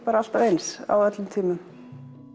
alltaf eins á öllum tímum